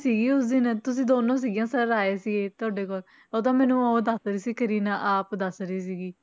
ਸੀਗੀ ਉਸ ਦਿਨ ਤੁਸੀਂ ਦੋਨੋਂ ਸੀਗੀਆਂ sir ਆਏ ਸੀਗੇ ਤੁਹਾਡੇ ਕੋਲ ਉਹ ਤਾਂ ਮੈਨੂੰ ਉਹ ਦੱਸ ਰਹੀ ਸੀ ਕਰੀਨਾ ਆਪ ਦੱਸ ਰਹੀ ਸੀਗੀ